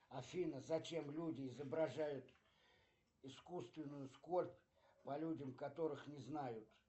афина зачем люди изображают искусственную скорбь по людям которых не знают